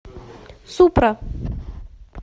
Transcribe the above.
супра